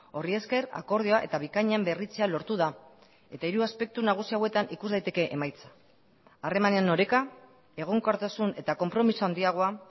horri esker akordioa eta bikainen berritzea lortu da eta hiru aspektu nagusi hauetan ikus daiteke emaitza harremanen oreka egonkortasun eta konpromiso handiagoa